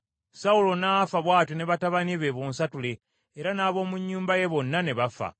Sawulo n’afa bw’atyo ne batabani be bonsatule, era n’abo mu nnyumba ye bonna ne bafa.